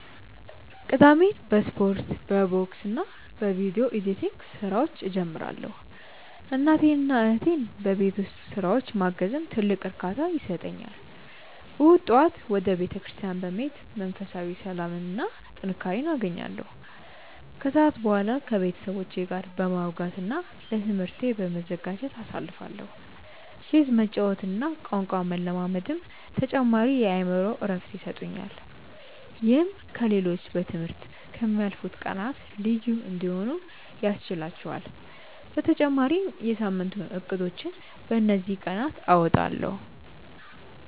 ቅዳሜን በስፖርት፣ በቦክስና በቪዲዮ ኤዲቲንግ ስራዎች እጀምራለሁ። እናቴንና እህቴን በቤት ውስጥ ስራዎች ማገዝም ትልቅ እርካታ ይሰጠኛል። እሁድ ጠዋት ወደ ቤተክርስቲያን በመሄድ መንፈሳዊ ሰላምና ጥንካሬ አገኛለሁ፤ ከሰዓት በኋላ ከቤተሰቦቼ ጋር በማውጋትና ለትምህርቴ በመዘጋጀት አሳልፋለሁ። ቼዝ መጫወትና ቋንቋ መለማመድም ተጨማሪ የአእምሮ እረፍት ይሰጡኛል። ይህም ከ ሌሎቹ በ ትምህርት ከ ምያልፉት ቀናት ልዩ እንዲሆኑ ያስችህላቹአል በተጨማሪም የ ሳምንቱን እቅዶችን በ እንዚህ ቀናት አወጣለሁ።